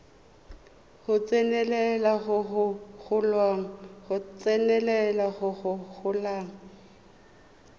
go tsenelela go go golang